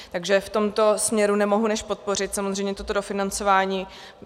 Takže v tomto směru nemohu než podpořit samozřejmě toto dofinancování.